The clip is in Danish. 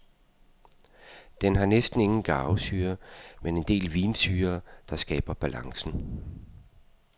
Den har næsten ingen garvesyre, men en del vinsyre, der skaber balancen.